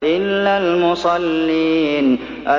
إِلَّا الْمُصَلِّينَ